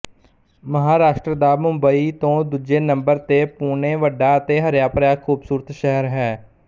ਮਹਾਂਰਾਸ਼ਟਰ ਦਾ ਮੁੰਬਈ ਤੋਂ ਦੂਜੇ ਨੰਬਰ ਤੇ ਪੁਣੇ ਵੱਡਾ ਤੇ ਹਰਿਆਭਰਿਆ ਖ਼ੂਬਸੂਰਤ ਸ਼ਹਿਰ ਹੈ